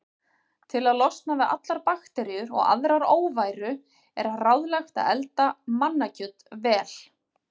Til að losna við allar bakteríur og aðra óværu er ráðlegt að elda mannakjöt vel.